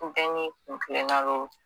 Ko bɛɛ n'i kunkilena don